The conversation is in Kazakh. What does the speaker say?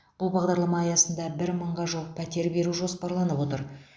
бұл бағдарлама аясында бір мыңға жуық пәтер беру жоспарланып отыр